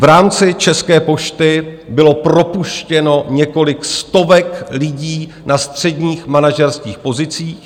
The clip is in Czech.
V rámci České pošty bylo propuštěno několik stovek lidí na středních manažerských pozicích.